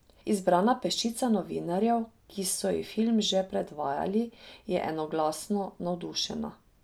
Izbrana peščica novinarjev, ki so ji film že predvajali, je enoglasno navdušena.